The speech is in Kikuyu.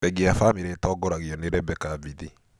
Bengi ya Family ĩtongoragio nĩ Rebecca Mbithi.